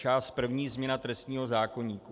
Část první - Změna trestního zákoníku.